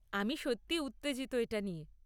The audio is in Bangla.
আমি সত্যি উত্তেজিত এটা নিয়ে।